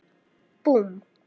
Búmm!